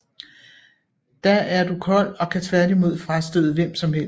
Da er du kold og kan tværtimod frastøde hvem som helst